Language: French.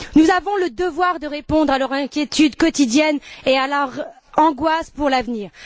Nous avons le devoir de répondre à leur inquiétude quotidienne et à leur angoisse face à l'avenir.